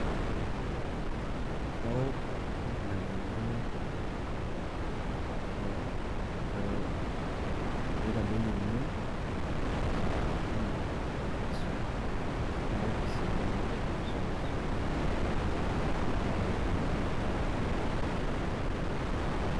Kaok ilng`anayio oitadoyio emion aa panadol extra naok sii capluses tenaata olkirobi.